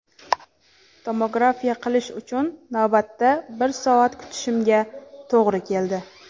Tomografiya qilish uchun navbatda bir soat kutishimga to‘g‘ri keldi.